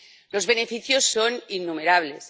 Los beneficios son innumerables.